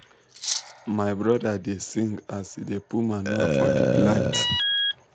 my brother da sing aas he da put manure for the plant